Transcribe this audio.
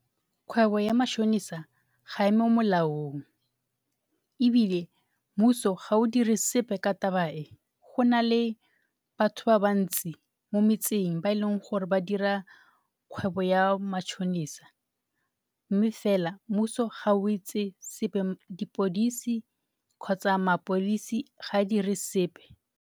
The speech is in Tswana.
Kgwebo ya matšhonisa ga e mo molaong ebile mmuso ga o dire sepe ka taba e. Go na le batho ba bantsi mo metseng ba e leng gore ba dira kgwebo ya matšhonisa mme fela mmuso ga o etse selo. Seponisi kgotsa mapodisi ga a dire sepe.